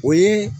O ye